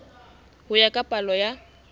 ho ya ka palo ya